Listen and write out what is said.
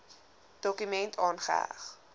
dokument aangeheg